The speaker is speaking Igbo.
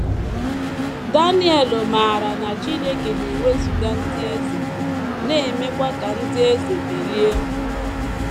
Daniel maara na Chineke “ na - ewezụga ndị eze, na - emekwa ka ndị eze bilie. ”